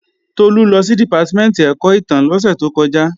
Tolú lọ sí Dìpátímẹ̀ntì ẹ̀kọ́ ìtàn lósẹ̀ tó kọjá